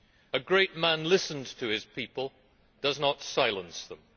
A great man listens to his people and does not silence them.